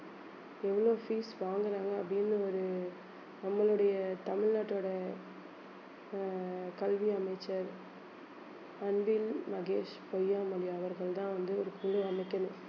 எவ்வளவு fees வாங்கறாங்க அப்படின்னு ஒரு நம்மளுடைய தமிழ்நாட்டோட அஹ் கல்வி அமைச்சர் அன்பில் மகேஷ் பொய்யாமொழி அவர்கள்தான் வந்து ஒரு குழு அமைக்கணும்